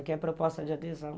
Aqui é a proposta de adesão.